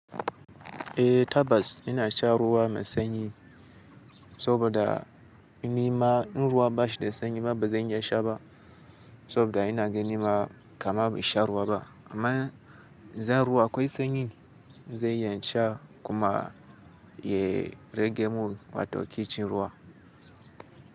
Eh Tabas ina sha ruwa mai sanyi saboda nima in ruwa bashi da sanyi ma bazan iya sha ba saboda ina ganin ma kama ban sha ruwa ba amma zan ruwa akwai sanyi zan iya sha kuma ya rage mun wato kicin ruwa.